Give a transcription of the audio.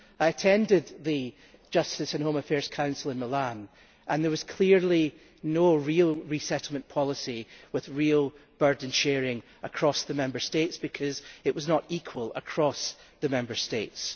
I attended the Justice and Home Affairs Council in Milan, and there was clearly no real resettlement policy with real burden sharing across the Member States, since it was not equal across the Member States.